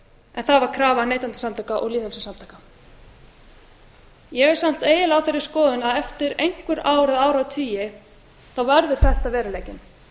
en það var krafa neytendasamtaka og lýðveldissamtaka ég er samt eiginlega á þeirri skoðun að eftir einhver ár eða áratugi verður þetta veruleikinn